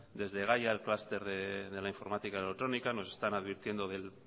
desde gaia el cluster de la informática y electrónica nos están advirtiendo del